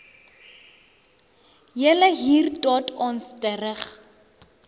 julle hier tot ons terug